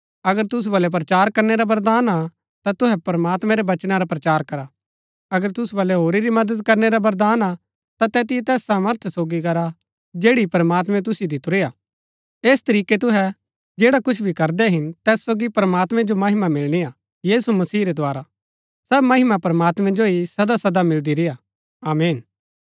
अगर तुसु बलै प्रचार करनै रा वरदान हा ता तुहै प्रमात्मैं रै वचना रा प्रचार करा अगर तुसु बलै होरी री मदद करनै रा वरदान हा ता तैतिओ तैस सामर्थ सोगी करा जैड़ी प्रमात्मैं तुसिओ दितुरी हा ऐस तरीकै तुहै जैड़ा कुछ भी करदै हिन तैत सोगी प्रमात्मैं जो महिमा मिलनी हा यीशु मसीह रै द्धारा सब महिमा प्रमात्मैं जो ही सदासदा मिलदी रेय्आ आमीन